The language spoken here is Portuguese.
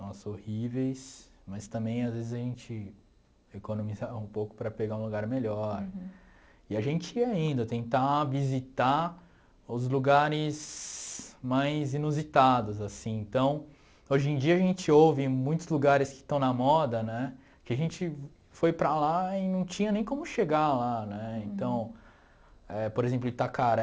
Nossa, horríveis, mas também às vezes a gente economizar um pouco para pegar um lugar melhor e a gente ia indo tentar visitar os lugares mais inusitados assim então hoje em dia a gente ouve muitos lugares que estão na moda né que a gente foi para lá e não tinha nem como chegar lá né então é por exemplo Itacaré